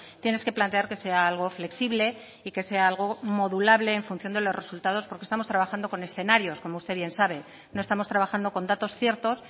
tienes que plantear que sea algo flexible y que sea algo modulable en función de los resultados porque estamos trabajando con escenarios como usted bien sabe no estamos trabajando con datos ciertos